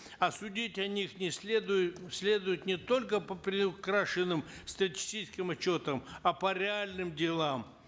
а судить о них не следует следует не только по приукрашенным статистическим отчетам а по реальным делам